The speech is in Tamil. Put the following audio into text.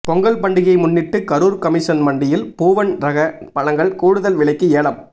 பொங்கல் பண்டிகையை முன்னிட்டு கரூர் கமிஷன் மண்டியில் பூவன் ரக பழங்கள் கூடுதல் விலைக்கு ஏலம்